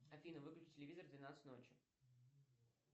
афина выключи телевизор в двенадцать ночи